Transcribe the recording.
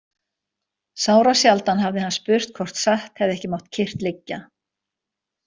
Sárasjaldan hafði hann spurt hvort satt hefði ekki mátt kyrrt liggja.